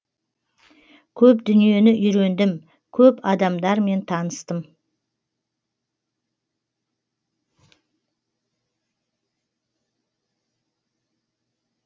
көп дүниені үйрендім көп адамдармен таныстым